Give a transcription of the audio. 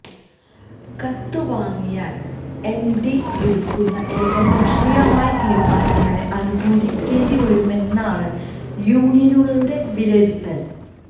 കത്ത് വാങ്ങിയാല് എംഡി എടുക്കുന്ന ഏകപക്ഷീയമായ തീരുമാനങ്ങളെ അനുകൂലിക്കേണ്ടി വരുമെന്നാണ് യൂണിയനുകളുടെ വിലയിരുത്തല്